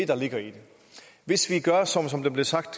der ligger i det hvis vi gør som som det blev sagt